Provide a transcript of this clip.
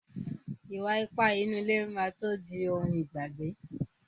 Ìwà ipá nínú ilé má tó di ohun ìgbàgbé.